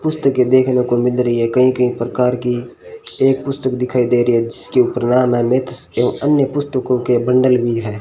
पुस्तकें देखने को मिल रही है कई कई प्रकार की एक पुस्तक दिखाई दे रही है जिसके ऊपर नाम है मित्र एवं अन्य पुस्तकों के बंडल भी हैं।